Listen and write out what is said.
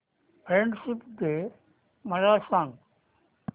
friendship day मला सांग